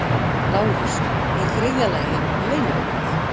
LÁRUS: Í þriðja lagi: leynivopnið.